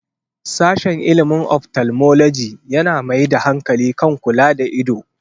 Sashen ilimin 'Ophthalmology' yana mai da hankali kan kula da ido.